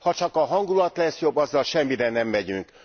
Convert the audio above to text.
Ha csak a hangulat lesz jobb, azzal semmire nem megyünk.